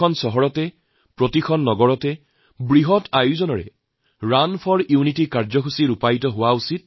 দেশৰ প্ৰতিখন নগৰেচহৰে ডাঙৰকৈ ৰুণ ফৰ ইউনিটি কাৰ্যসূচী ৰূপায়ণ কৰা দৰকাৰ